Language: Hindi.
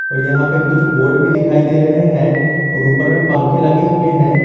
और यहां पे कुछ बोर्ड भी दिखाई दे रहे हैं और ऊपर पंखा भी लगे हुए हैं।